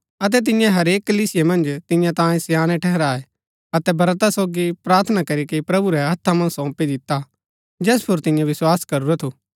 अतै तिन्ये हरेक कलीसिया मन्ज तियां तांयें स्याणै ठहराये अतै ब्रता सोगी प्रार्थना करीके प्रभु रै हत्था मन्ज सौंपी दिता जैस पुर तिन्ये विस्वास करूरा थु